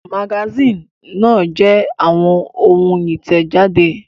Àwọn magasínì náà jẹ́ àwọn ohun ìtẹ̀jáde.